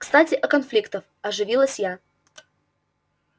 кстати о конфликтов оживилась я